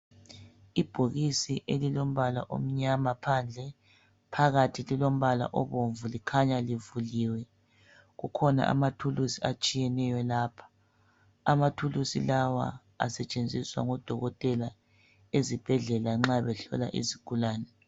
Ibhokisis elilombala omnyama phandle, phakathi lilombala obomvu likhanya livuliwe. Kukhona amathuluzi atshiyeneyo lapho, amathuluzi lawa asetshenziswa ngodokotela ezibhedlela nxa behlola izigulane.